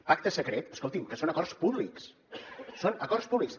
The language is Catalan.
pacte secret escolti’m que són acords públics són acords públics